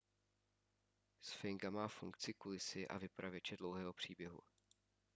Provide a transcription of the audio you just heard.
sfinga má funkci kulisy a vypravěče dlouhého příběhu